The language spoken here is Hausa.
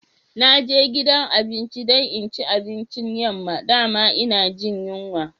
Na je gidan abinci dan in ci abincin yamma, da'ma ina Jin yunwa.